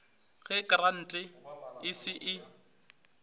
ge krante e se e